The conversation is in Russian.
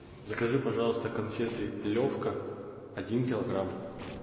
закажи пожалуйста конфеты левка один килограмм